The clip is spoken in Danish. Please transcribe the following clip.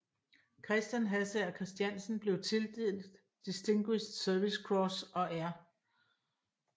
Christian Hassager Christiansen blev tildelt Distinguished Service Cross og R